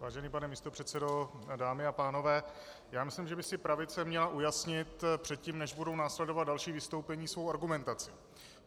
Vážený pane místopředsedo, dámy a pánové, já myslím, že by si pravice měla ujasnit předtím, než budou následovat další vystoupení, svou argumentaci.